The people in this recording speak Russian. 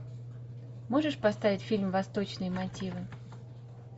можешь поставить фильм восточные мотивы